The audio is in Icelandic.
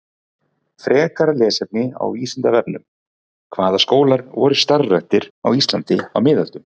Frekara lesefni á Vísindavefnum: Hvaða skólar voru starfræktir á Íslandi á miðöldum?